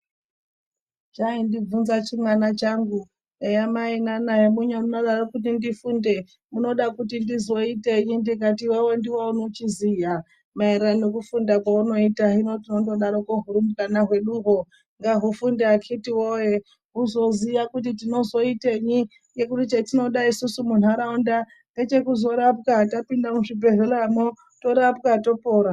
Chaindibvunza chimwana changu eya mai yamunodaro kuti ndifunde munoda kuti ndizoitei ndikati iwewe ndiwe unochiziya maererano nekufunda kwaunoita. Hino tinondodaroko hurumbwana hwedu hwo ngahufunde akati woye huzoziya kuti tinozoitei ngekuti chatinoda isusu muntaraunda ngechekuzo rapwa tapinda mu zvibhedhleramwo torapwa topora.